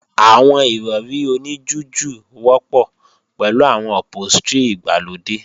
Àwọn Ìrọ̀rí oní jújù wọ́pọ̀ pẹ̀lú àwọn ọ̀póstrì ìgbàlódé